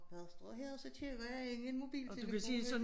Når jeg står her så kigger jeg ind i en mobiltelefon ik